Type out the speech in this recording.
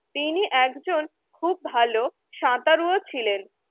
তিনি একজন খুব ভাল সাঁতারু ও ছিলেন।